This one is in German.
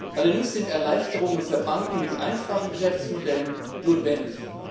Allerdings sind Erleichterungen für Banken mit einfachen Geschäftsmodellen notwendig.